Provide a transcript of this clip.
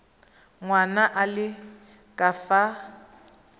ngwana a le ka fa